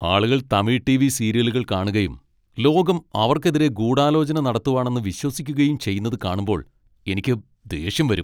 ആളുകൾ തമിഴ് ടിവി സീരിയലുകൾ കാണുകയും ലോകം അവർക്കെതിരെ ഗൂഢാലോചന നടത്തുവാണെന്ന് വിശ്വസിക്കുകയും ചെയ്യുന്നത് കാണുമ്പോൾ എനിക്ക് ദേഷ്യം വരും.